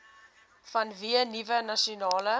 vanweë nuwe nasionale